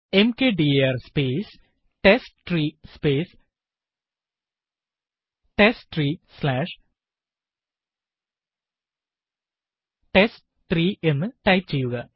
mkdir space test three space test three slash test three എന്ന് type ചെയ്യുക